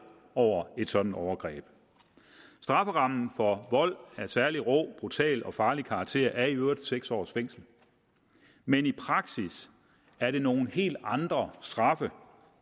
over et sådant overgreb strafferammen for vold af særlig rå brutal eller farlig karakter er i øvrigt seks års fængsel men i praksis er det nogle helt andre straffe